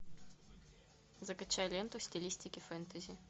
закачай ленту в стилистике фэнтези